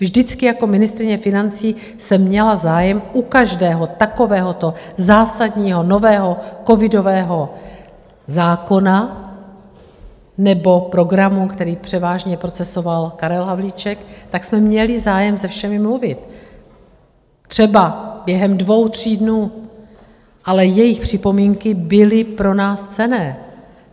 Vždycky jako ministryně financí jsem měla zájem u každého takovéhoto zásadního nového covidového zákona nebo programu, který převážně procesoval Karel Havlíček, tak jsme měli zájem se všemi mluvit, třeba během dvou, tří dnů, ale jejich připomínky byly pro nás cenné.